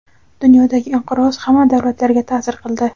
Dunyodagi inqiroz hamma davlatlarga ta’sir qildi.